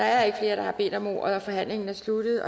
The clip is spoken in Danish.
er ikke flere der har bedt om ordet og forhandlingen er sluttet